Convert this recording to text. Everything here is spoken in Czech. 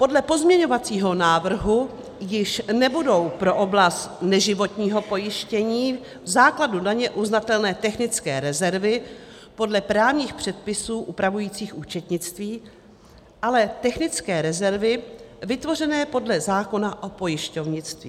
Podle pozměňovacího návrhu již nebudou pro oblast neživotního pojištění v základu daně uznatelné technické rezervy podle právních předpisů upravujících účetnictví, ale technické rezervy vytvořené podle zákona o pojišťovnictví.